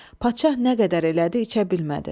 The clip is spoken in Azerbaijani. Padşah nə qədər elədi, içə bilmədi.